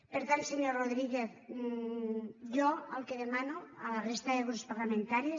per tant senyor rodríguez jo el que demano a la resta de grups parlamentaris